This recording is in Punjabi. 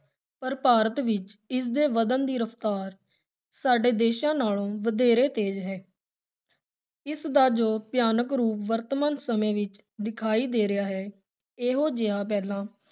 ਪਰ ਭਾਰਤ ਵਿਚ ਇਸ ਦੇ ਵਧਣ ਦੀ ਰਫ਼ਤਾਰ ਸਾਡੇ ਦੇਸ਼ਾਂ ਨਾਲੋਂ ਵਧੇਰੇ ਤੇਜ਼ ਹੈ ਇਸ ਦਾ ਜੋ ਭਿਆਨਕ ਰੂਪ ਵਰਤਮਾਨ ਸਮੇਂ ਵਿਚ ਦਿਖਾਈ ਦੇ ਰਿਹਾ ਹੈ, ਇਹੋ ਜਿਹਾ ਪਹਿਲਾਂ